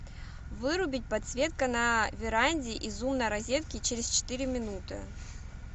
вырубить подсветка на веранде из умной розетки через четыре минуты